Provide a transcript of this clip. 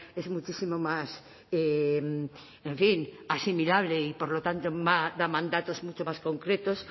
es muchísimo más en fin asimilable y por lo tanto da mandatos mucho más concretos